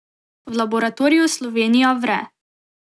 V laboratoriju Slovenija vre.